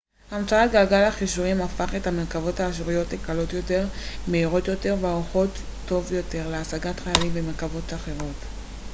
המצאת גלגל החישורים הפך את המרכבות האשוריות לקלות יותר מהירות יותר וערוכות טוב יותר להשגת חיילים ומרכבות אחרות